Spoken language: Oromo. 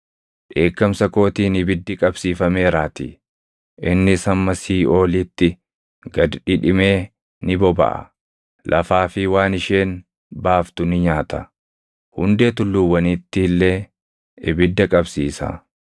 Dheekkamsa kootiin ibiddi qabsiifameeraatii; innis hamma siiʼoolitti gad dhidhimee ni bobaʼa. Lafaa fi waan isheen baaftu ni nyaata; hundee tulluuwwaniitti illee ibidda qabsiisa.